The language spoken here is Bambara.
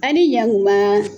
A ni yan kuma !